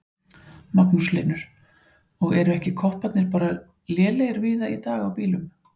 Magnús Hlynur: Og eru ekki kopparnir bara lélegir víða í dag á bílum?